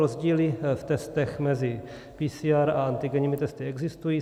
Rozdíly v testech mezi PCR a antigenními testy existují.